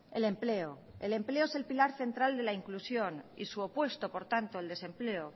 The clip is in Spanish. el empleo el empleo es el pilar central de la inclusión y su opuesto por tanto el desempleo